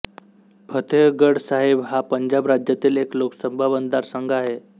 फतेहगढ साहिब हा पंजाब राज्यातील एक लोकसभा मतदारसंघ आहे